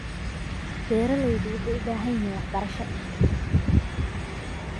Beeraleydu waxay u baahan yihiin waxbarasho.